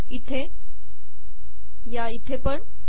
इथे आणि इथे पण